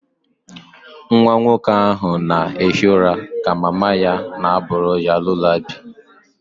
Nwa nwoke ahụ na-ehi ụra ka mama ya na-abụ ya lullaby